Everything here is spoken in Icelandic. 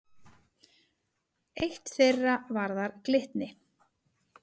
Eitt þeirra varðar Glitni.